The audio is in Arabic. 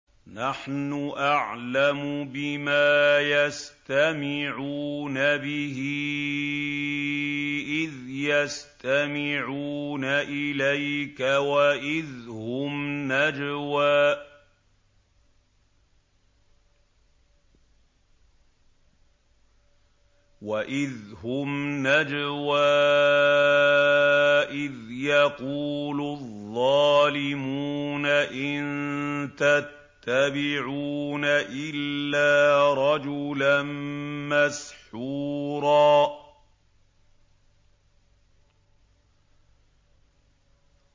نَّحْنُ أَعْلَمُ بِمَا يَسْتَمِعُونَ بِهِ إِذْ يَسْتَمِعُونَ إِلَيْكَ وَإِذْ هُمْ نَجْوَىٰ إِذْ يَقُولُ الظَّالِمُونَ إِن تَتَّبِعُونَ إِلَّا رَجُلًا مَّسْحُورًا